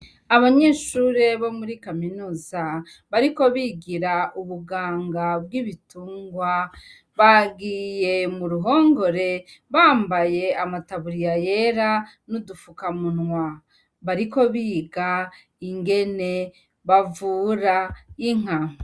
Abanyeshure bo muri kaminuza bariko barigira ubuganga bw'ibitungwa , bagiye muruhongore, bambaye amataburiya yera n'udufuka munwa . Bariko biga ingene bavura Inka.